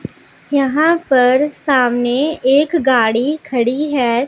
यहां पर सामने एक गाड़ी खड़ी है।